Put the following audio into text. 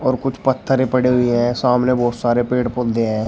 और कुछ पत्थरे पड़े हुए हैं सामने बहोत सारे पेड़ पौधे हैं।